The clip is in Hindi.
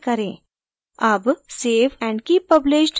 अब save and keep published पर click करें